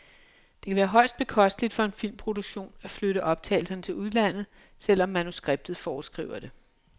Det kan være højst bekosteligt for en filmproduktion at flytte optagelserne til udlandet, selv om manuskriptet foreskriver det.